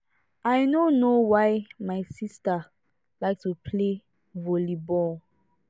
i no know why my sister like to play volley ball